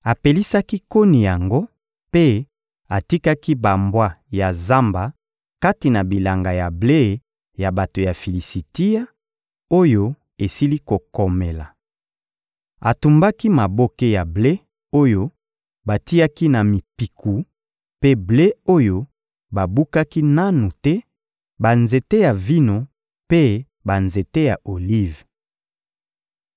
Apelisaki koni yango mpe atikaki bambwa ya zamba kati na bilanga ya ble ya bato ya Filisitia, oyo esili kokomela. Atumbaki maboke ya ble oyo batiaki na mipiku mpe ble oyo babukaki nanu te, banzete ya vino mpe banzete ya olive.